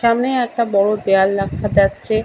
সামনেই একটা বড় দেয়াল দেখা যাচ্ছে ।